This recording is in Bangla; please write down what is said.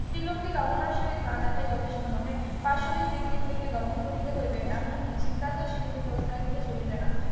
স্ত্রীলোককে কামনা সহিত না দেখায় যথেষ্ট নহে পাশবিক ব্যক্তি গুলিকে দমন করিতে হইবে এমনকি চিন্তাতেও সেগুলির প্রশ্রয় দিলে চলিবে না